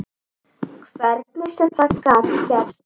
Hvernig sem það gat gerst.